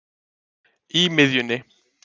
í miðjunni